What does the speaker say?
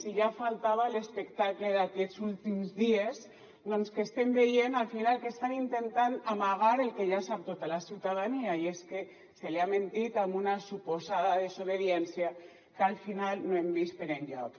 i ja faltava l’espectacle d’aquests últims dies doncs que estem veient al final que estan intentant amagar el que ja sap tota la ciutadania i és que se li ha mentit amb una suposada desobediència que al final no hem vist per enlloc